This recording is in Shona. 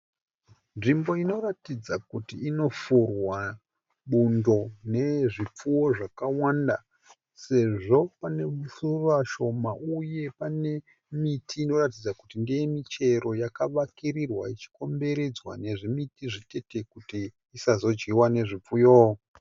Nzvimbo inoratidza kuti inofurwa bundo nezvipfuwo zvakawanda sezvo panesora shoma uye panemiti inoratidza kuti ndeyemichero yakavakirirwa ichikomberedzwa nezvimiti zvitete kut isazodyiwa nezvipfuyo.